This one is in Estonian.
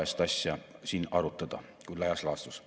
Me suudame seda teha ka täna "Eesti 2035" strateegiat ellu viies.